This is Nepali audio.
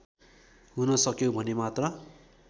हुन सक्यौं भने मात्र